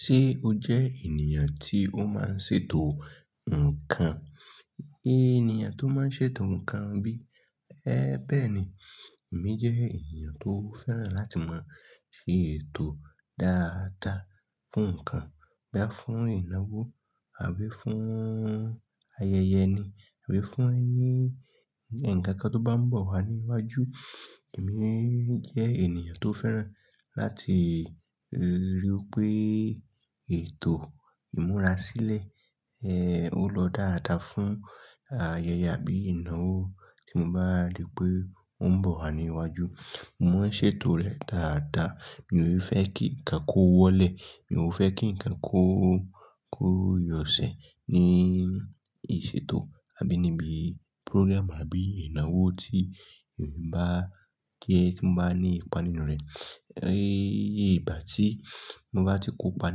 Ṣé o jẹ ènìyàn tí ó máa ń ṣètò nǹkan? Ènìyàn tó máa ń ṣètò nǹkan bí? Ẹ́ bẹ́ẹ̀ ni. Èmi jẹ ènìyàn tó fẹ́ràn láti máa ṣètò dáadáa fún nǹkan. Boya fún ìnáwó àbí fún ayẹyẹ ni, àbí fún ẹni-- ǹkan kan tó bá ń bọ̀ wá ní iwájú, èmi jẹ ènìyàn tó fẹ́ràn láti ríi wí pé ètò ìmúra sílẹ̀, ẹ́ ó lọ dáadáa fún ayẹyẹ àbí ìnáwó tí mo bá rí pé ó ń bọ̀ wá ní iwájú. Mo máa ṣètò rẹ̀ dáadáa. Mi ò ní fẹ́ kí ǹkan kó wọ́lẹ̀. Mi ò fẹ́ kí ǹkan kó, kó yọ̀ṣẹ̀ ní ìṣètò àbí níbi program àbí ìnáwó tí èmi bá kí ẹ tí mo bá ní ipa nínú rẹ̀. Ẹ ìgbà tí mo bá ti kópa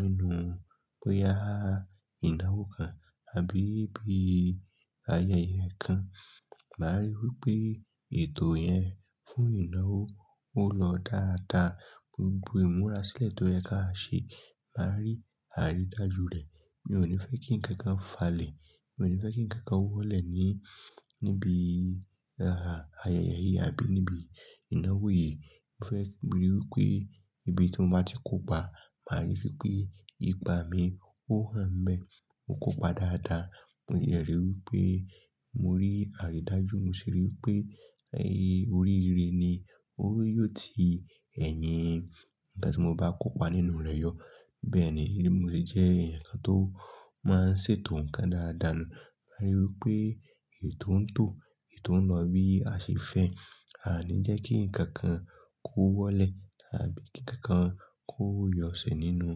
nínú, bóyá ìnáwó kan àbí bí ayẹyẹ kan, màá ríi wí pé ètò yẹn fún ìnáwó ó lọ dáadáa. Gbogbo ìmúra sílẹ̀ tó yẹ kí a ṣe, màá rí àrídájú rẹ̀. Mi ò ní fẹ́ kí ǹkan fa lè. Mi ò ní fẹ́ kí ǹkan wọ́lẹ̀ ní, níbi ayẹyẹ yìí àbí níbi ìnáwó yìí. Mo fẹ́ ríi wí pé ibi tí mo bá ti kópa, màá ríi wí pé ipa mi ó hàn n bẹ́, mo kópa dáadáa. Mo dẹ ríi wí pé mo rí àrídájú. Mo sì ríi wí pé ẹ́ oríire ni ó yóò ti ẹ̀yin nnkan tí mo bá kópa nínú rẹ̀ yọ. Bẹ́ẹ̀ ni, èmi bi mò se jẹ́ ẹ̀yàn kan tó máa ń ṣètò ǹkan dáadáa ni. Màá ríi wí pé ètò ń tò, ètò ń lọ bí a ṣe fẹ́. A ní jẹ́ kí ǹkan kan kó wọ́lẹ̀ àbí kí ǹkan kan kó yọ̀ṣẹ̀ nínú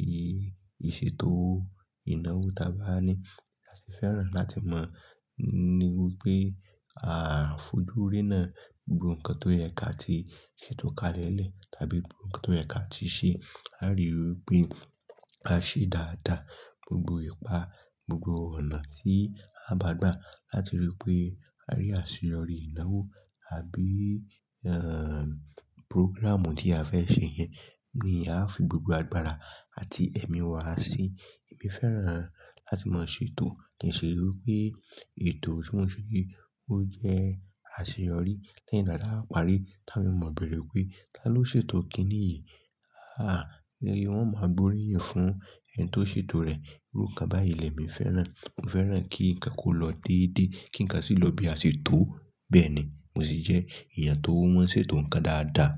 ì-ìṣètò ìnáwó tá bá ní. A sì fẹ́ràn láti mọ̀ wípé à ń fojú riná gbogbo ǹkan tó yẹ kí a ti ṣètò ká lẹ́lẹ̀ tàbí gbogbo ǹkan tó yẹ kí a ti ṣe. A rí i wí pé a ṣe dáadáa gbogbo ipa, gbogbo ọ̀nà tí a bá gbà láti ríi wí pé a rí àṣeyọrí ìnáwó àbí, ẹ́ programù tí a fẹ́ ṣe yẹn ni a fi gbogbo agbára àti ẹ̀mí wa sí i. Èmi fẹ́ràn láti máa ṣètò kí n si ríi wí pé ètò tí mo ṣe ó jẹ́ àṣeyọrí. Lẹ́yìn taba wa párí tá awon eeyan o mọ̀ bẹ̀rẹ̀ pé, "Ta ló ṣètò kìíní yìí?" Aà! Lẹ́yìn wọn máa boríyìn fún ẹni tó ṣètò rẹ̀. Irú kan báyìí le mi fẹ́ràn. Mo fẹ́ràn kí ǹkan kó lọ déédéé kí ǹkan sì lọ bí a ṣe tó. Bẹ́ẹ̀ ni, mo sì jẹ́ èèyàn tó maa n ṣètò ǹkan dáadáa.